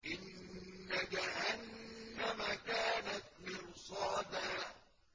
إِنَّ جَهَنَّمَ كَانَتْ مِرْصَادًا